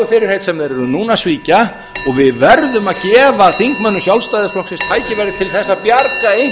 fyrirheit sem þeir eru núna að svíkja og við verðum að gefa þingmönnum sjálfstæðisflokksins tækifæri til þess að